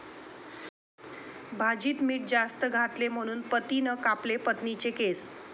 भाजीत मीठ जास्त घातले म्हणून पतीनं कापले पत्नीचे केस!